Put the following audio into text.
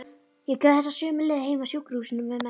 Ég gekk þessa sömu leið heim af sjúkrahúsinu með mömmu.